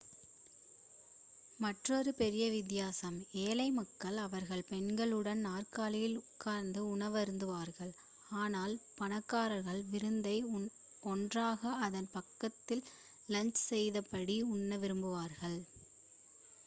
மற்றொரு பெரிய வித்தியாசம் ஏழை மக்கள் அவர்கள் பெண்களுடன் நாற்காலியில் உட்கார்ந்து உணவருந்துவார்கள் ஆனால் பணக்காரர்கள் விருந்தை ஒன்றாக அதன் பக்கத்தில் லௌங்ஜ் செய்தபடி உண்ண விரும்புவார்கள்